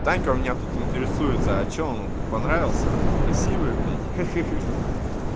танька у меня тут интересуется а что он хоть понравился красивый блядь ха-ха-ха